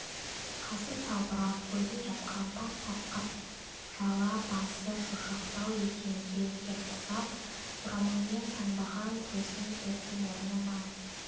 қасы салбырап көзін жапқан тап-тақыр жала басы шошақтау екен керекең құсап орамалмен таңбаған төсін тоқым орнына